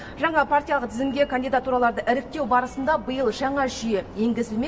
жаңа партиялық тізімге кандидатураларды іріктеу барысында биыл жаңа жүйе енгізілмек